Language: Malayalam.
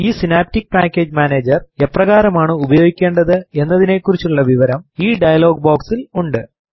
ഈ സിനാപ്റ്റിക് പാക്കേജ് മാനേജർ എപ്രകാരമാണ് ഉപയോഗിക്കേണ്ടത് എന്നതിനെക്കുറിച്ചുള്ള വിവരം ഈ ഡയലോഗ് ബോക്സിൽ ഉണ്ട്